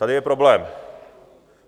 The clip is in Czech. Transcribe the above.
tady je problém.